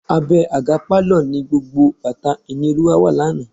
Abẹ́ àga pálọ̀ ni gbogbo bàtà Ìníolúwa wà lánàá.